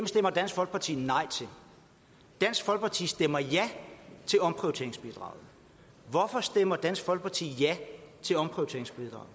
stemmer dansk folkeparti nej til dansk folkeparti stemmer ja til omprioriteringsbidraget hvorfor stemmer dansk folkeparti ja til omprioriteringsbidraget